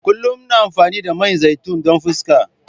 Kullum ina amfani da man zaitun don fuskata.